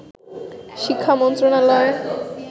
শিক্ষা মন্ত্রনালয়